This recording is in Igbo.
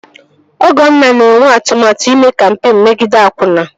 Ọgọnna na-enwe atụmatụ ime kampeen megide akwụna